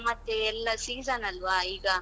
ಈಗ ಮತ್ತೆ ಎಲ್ಲಾ season ಅಲ್ವಾ ಈಗ?